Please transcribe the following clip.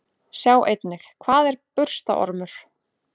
Sjá einnig: Hvað er burstaormur?